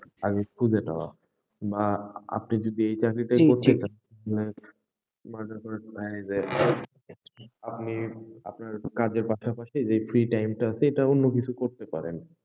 আগে খুঁজে নেওয়া, বা আপনি যদি এই চাকরিটাই করতে চান যে আপনি, আপনার কাজের পাশাপাশি এই free time টা তে অন্য কিছু করতে পারেন।